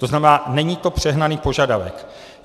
To znamená, není to přehnaný požadavek.